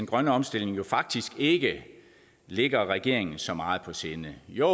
grønne omstilling faktisk ikke ligger regeringen så meget på sinde jo